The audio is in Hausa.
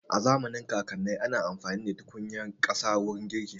A zamanin kakanai ana amfani ne da tukunyar ƙasa wurin girki